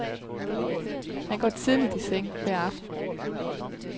Han går tidligt i seng hver aften.